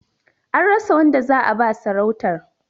An rasa wanda za'a ba sarautar.